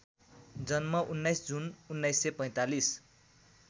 जन्म १९ जुन १९४५